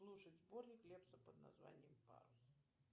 слушать сборник лепса под названием парус